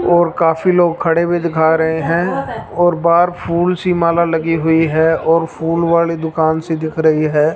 और काफी लोग खड़े भी दिखा रहे हैं और बाहर फूल सी माला लगी हुई है और फूल वाली दुकान सी दिख रही है।